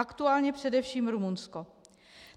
Aktuálně především Rumunsko.